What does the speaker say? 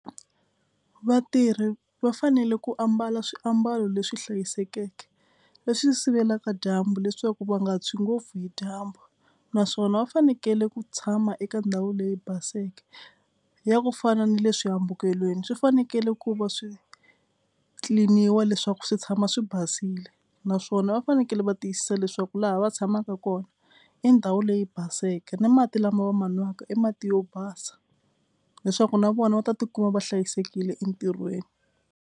Vatirhi va fanele ku ambala swiambalo leswi hlayisekeke leswi sivelaka dyambu leswaku va nga tshwi ngopfu hi dyambu naswona va fanekele ku tshama eka ndhawu leyi baseke ya ku fana ni le swihambukelweni swi fanekele ku va swi clean iwa leswaku swi tshama swi basile naswona va fanekele va tiyisisa leswaku laha va tshamaka kona i ndhawu leyi baseke na mati lama va ma nwaka i mati yo basa leswaku na vona va ta tikuma va hlayisekile entirhweni.